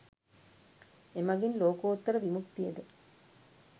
එමගින් ලෝකෝත්තර විමුක්තියද